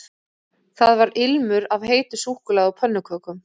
Það var ilmur af heitu súkkulaði og pönnukökum